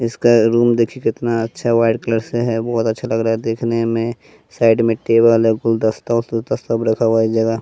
इसका रूम देखिए कितना अच्छा व्हाइट कलर से है बहुत अच्छा लग रहा है देखने में साइड में टेबल है गुलदस्ता उलदस्ता सब रखा हुआ है इस जगह--